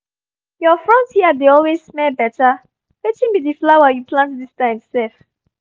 your front yard dey always smell better — wetin be the flower you plant this time sef?